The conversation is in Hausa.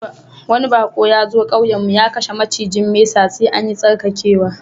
Wani bako ya zo ƙauyen mun, ya kashe macijin mesa, sai an yi tsarkakewa.